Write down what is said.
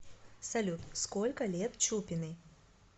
салют сколько лет чупиной